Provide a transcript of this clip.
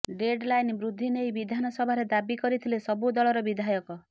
deadline ବୃଦ୍ଧି ନେଇ ବିଧାନସଭାରେ ଦାବି କରିଥିଲେ ସବୁ ଦଳର ବିଧାୟକ